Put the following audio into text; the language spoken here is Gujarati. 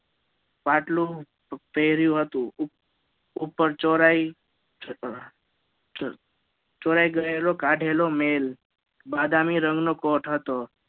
ફાટલું પહેર્યુ હતું ઉપર ચ ચ ચોરાઈ ગયેલો કાઢેલો મેલ બદામી રંગ નો Court હતો